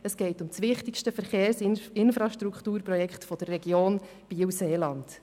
Es geht um das wichtigste Verkehrsinfrastrukturprojekt der Region Biel/Seeland.